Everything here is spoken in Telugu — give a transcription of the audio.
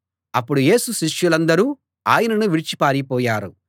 అప్పుడు యేసు శిష్యులందరూ ఆయనను విడిచి పారిపోయారు